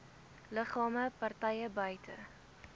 liggame partye buite